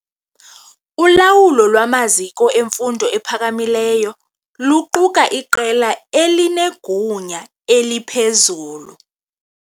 Ulawulo lwamaziko emfundo ephakamileyo luquka iqela elinegunya eliphezulu.